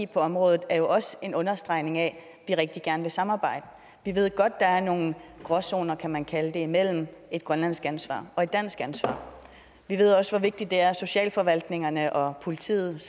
på området er jo også en understregning af at vi rigtig gerne vil samarbejde vi ved godt der er nogle gråzoner kan man kalde det imellem et grønlandsk ansvar og et dansk ansvar vi ved også hvor vigtigt det er at socialforvaltningerne og politiet